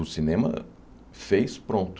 O cinema fez pronto.